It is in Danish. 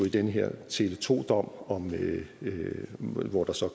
i den her tele2 dom hvor der så